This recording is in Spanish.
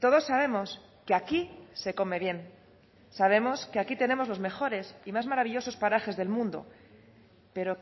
todos sabemos que aquí se come bien sabemos que aquí tenemos los mejores y más maravillosas parajes del mundo pero